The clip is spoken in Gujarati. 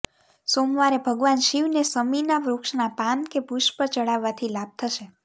સોમવારે ભગવાન શિવને શમીના વૃક્ષના પાન કે ષુષ્પ ચઢાવવાથી લાભ થશે